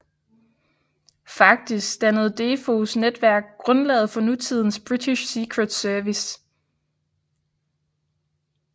Faktisk dannede Defoes netværk grundlaget for nutidens British Secret Service